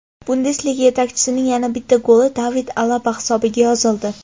Bundesliga yetakchisining yana bitta goli David Alaba hisobiga yozildi.